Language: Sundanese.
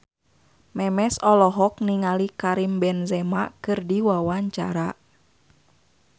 Memes olohok ningali Karim Benzema keur diwawancara